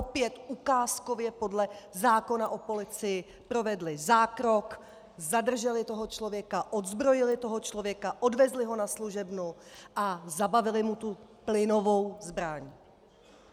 Opět ukázkově podle zákona o policii provedli zákrok, zadrželi toho člověka, odzbrojili toho člověka, odvezli ho na služebnu a zabavili mu tu plynovou zbraň.